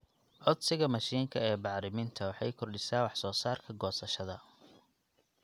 Codsiga mashiinka ee bacriminta waxay kordhisaa wax soo saarka goosashada.